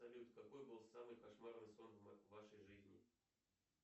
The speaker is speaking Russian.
салют какой был самый кошмарный сон в вашей жизни